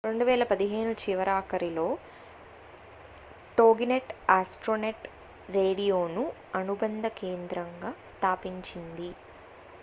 2015 చివరీ ఆఖరిలో టోగినెట్ ఆస్ట్రోనెట్ రేడియోను అనుబంధ కేంద్రంగా స్థాపించింది